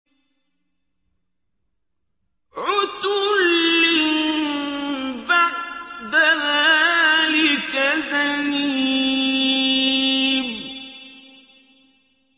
عُتُلٍّ بَعْدَ ذَٰلِكَ زَنِيمٍ